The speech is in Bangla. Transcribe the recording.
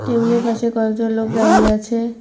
টেবিল -এর পাশে কয়েকজন লোক দাঁড়িয়ে আছে।